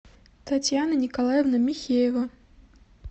татьяна николаевна михеева